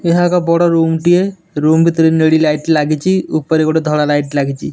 ଏହା ଏକ ବଡ଼ ରୁମଟିଏ ରୁମ ଭିତରେ ନେଳି ଲାଇଟ୍ ଲାଗିଚି ଉପରେ ଗୋଟେ ଧଳା ଲାଇଟ୍ ଲାଗିଚି।